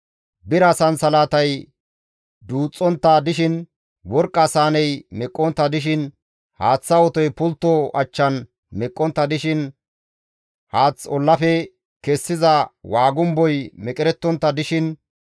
Bira sansalatay duuxxontta dishin, worqqa saaney meqqontta dishin, haaththa otoy pultto achchan meqqontta dishin, haath ollafe kessiza waagumboy meqerettontta dishin,